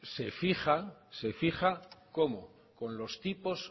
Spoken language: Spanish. se fija cómo con los tipos